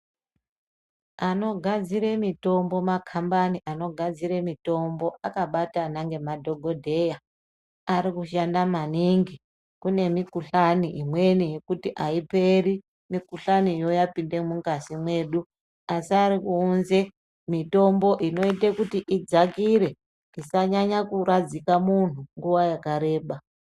Anogadzire mitombo makambani anogadzire mitombo akabatana ngemadhogodheya. Ari kushanda maningi kune mikuhlani imweni yekuti haiperi mikuhlaniyo yapinde mungazi mwedu. Asi ari kuunze mitombo inoite kuti idzakire isanyanya kuradzika muntu nguva yakareba.